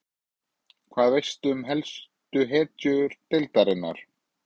Hvað veistu um helstu hetjur deildarinnar?